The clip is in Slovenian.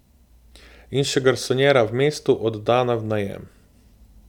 In še garsonjera v mestu, oddana v najem.